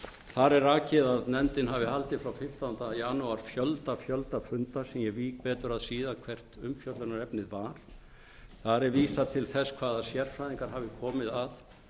þar er rakið að nefndin hafi haldið frá fimmtándu janúar fjölda funda sem ég vík betur að síðar hvert umfjöllunarefnið var þar er vísað til þess hvaða sérfræðingar hafi komið að